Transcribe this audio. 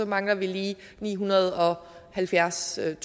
mangler vi lige nihundrede og halvfjerdstusind